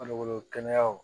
Farikolo kɛnɛyaw